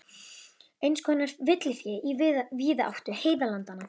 Eins konar villifé í víðáttu heiðalandanna.